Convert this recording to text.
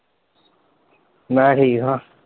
ਮੈ ਠੀਕ ਆਂ।